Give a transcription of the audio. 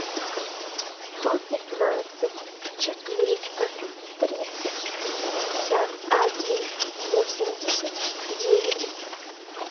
сто пятнадцать четыреста тридцать пятьдесят один восемьдесят девять